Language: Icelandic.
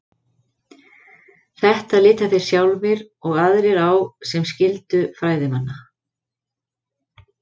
Þetta líta þeir sjálfir og aðrir á sem skyldu fræðimanna.